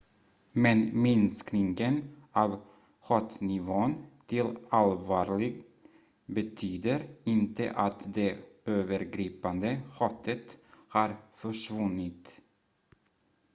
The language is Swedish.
"""men minskningen av hotnivån till allvarlig betyder inte att det övergripande hotet har försvunnit"".